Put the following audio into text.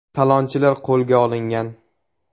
Talonchilar qo‘lga olingan.